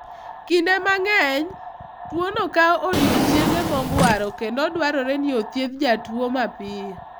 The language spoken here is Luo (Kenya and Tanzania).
Kinde mang'eny, tuwono kawo odiechienge mogwaro kendo dwarore ni othiedh jatuwo mapiyo.